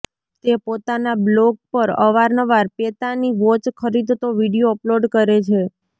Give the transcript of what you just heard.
તે પોતાના બ્લોગ પર અવારનવાર પેતાની વોચ ખરીદતો વિડિયો અપલોડ કરે છે